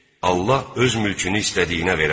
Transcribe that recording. Allah öz mülkünü istədiyinə verər.